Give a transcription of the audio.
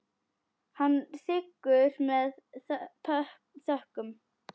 Hann þiggur það með þökkum.